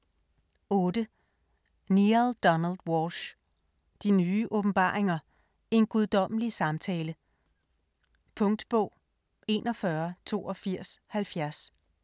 8. Walsch, Neale Donald: De nye åbenbaringer: en guddommelig samtale Punktbog 418270